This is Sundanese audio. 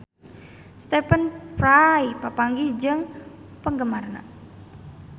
Stephen Fry papanggih jeung penggemarna